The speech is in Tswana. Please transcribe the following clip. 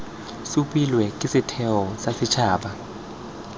supilwe ke setheo sa setshaba